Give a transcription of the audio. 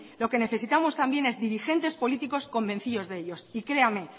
lo que necesitamos también es dirigentes políticos convencidos de ello y créanme